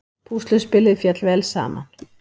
Púsluspilið féll vel saman